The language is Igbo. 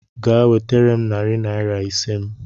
Gaa wetere m narị naira ise m